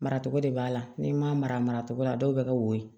Maracogo de b'a la n'i ma mara cogo la dɔw bɛ ka woyo